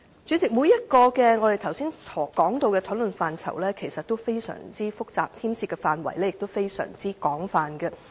主席，我們剛才談及的各個討論範疇其實均非常複雜，牽涉的範圍亦非常廣泛。